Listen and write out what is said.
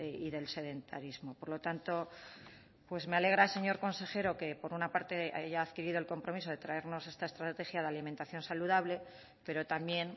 y del sedentarismo por lo tanto pues me alegra señor consejero que por una parte haya adquirido el compromiso de traernos esta estrategia de alimentación saludable pero también